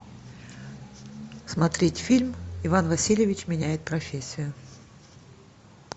смотреть фильм иван васильевич меняет профессию